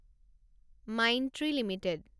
Mindtree limited